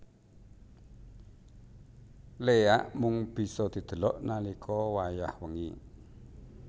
Léak mung bisa didelok nalika wayah wengi